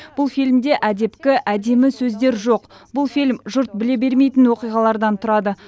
бұл фильмде әдепкі әдемі сөздер жоқ бұл фильм жұрт біле бермейтін оқиғалардан тұрады